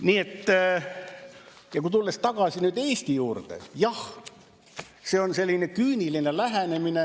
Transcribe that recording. Nii et kui tulla tagasi Eesti juurde, siis jah, see on selline küüniline lähenemine.